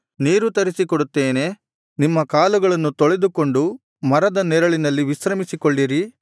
ನೀರು ತರಿಸಿಕೊಡುತ್ತೇನೆ ನಿಮ್ಮ ಕಾಲುಗಳನ್ನು ತೊಳೆದುಕೊಂಡು ಮರದ ನೆರಳಿನಲ್ಲಿ ವಿಶ್ರಮಿಸಿಕೊಳ್ಳಿರಿ